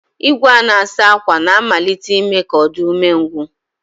Igwe a na-asa ákwà na-amalite ime ka ọ dị umengwụ